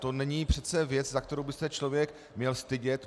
To není přece věc, za kterou by se člověk měl stydět.